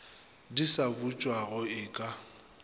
di sa butšwago e ka